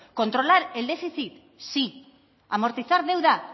controlar el déficit sí amortizar deuda